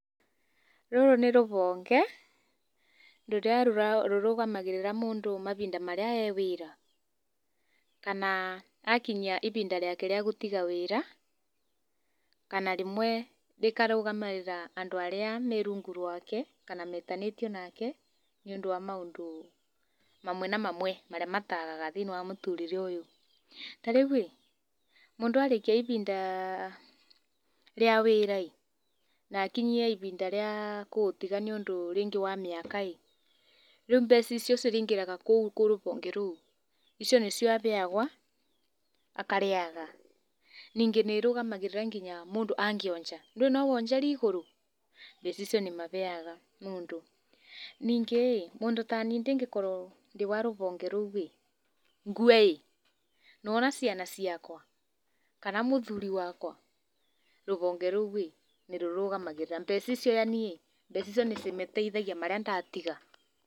Rũrũ nĩ rũhonge rũrĩa rũrũgamagĩrĩra mũndũ mahinda marĩa e wĩra kana akinyia ihinda rĩake rĩa gũtiga wĩra kana rĩmwe rĩkarũgamĩrĩra andũ arĩa me rungu rwake kana metanĩtio nake nĩ ũndũ wa maũndũ mamwe na mamwe marĩa matagaga thĩinĩ wa mũtũrĩre ũyũ ta rĩu rĩ mundũ arĩkĩa ihinda rĩa wĩra na akinye ihinda rĩa kũũtiga nĩ ũndũ rĩngĩ wa mĩaka rĩu mbeca icio cirĩingĩra kũu kũrĩ rũhonge rũu icio nĩcio aheagwo akarĩaga ningĩ nĩ irũgamagĩrĩra nginya mũndũ angĩonja, ndũĩ no wonjere igũrũ mbeca icio nĩ mahega mũndũ, ningĩ mũndũ ta niĩ ingĩkorwo ndĩ wa rũhonge rũurĩ ngue nĩ wona ciana ciakwa kana mũthuri wakwa rũhonge rũu nĩ rũrũgamagĩgĩra mbeca icio yaani mbeca icio ni cimateithagia arĩa ndatiga.